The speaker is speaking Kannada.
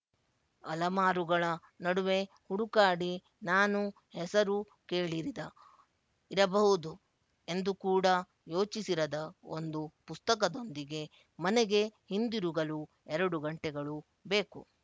ಅಲಮಾರುಗಳ ನಡುವೆ ಹುಡುಕಾಡಿ ನಾನು ಹೆಸರೂ ಕೇಳಿರದ ಇರಬಹುದು ಎಂದು ಕೂಡ ಯೋಚಿಸಿರದ ಒಂದು ಪುಸ್ತಕದೊಂದಿಗೆ ಮನೆಗೆ ಹಿಂದಿರುಗಲು ಎರಡು ಗಂಟೆಗಳು ಬೇಕು